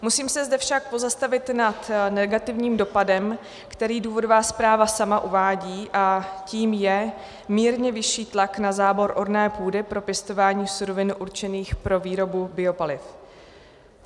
Musím se zde však pozastavit nad negativním dopadem, který důvodová zpráva sama uvádí, a tím je mírně vyšší tlak na zábor orné půdy pro pěstování surovin určených pro výrobu biopaliv.